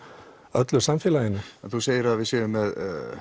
öllu samfélaginu þú segir að við séum með